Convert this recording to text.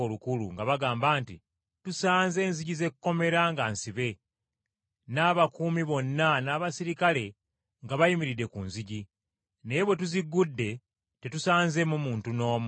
nga bagamba nti, “Tusanze enzigi z’ekkomera nga nsibe n’abakuumi bonna n’abaserikale nga bayimiridde ku nzigi; naye bwe tuziggudde, tetusanzeemu muntu n’omu.”